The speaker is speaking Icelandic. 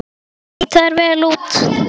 Því þeir líta vel út?